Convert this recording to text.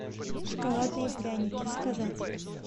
шоколадные пряники заказать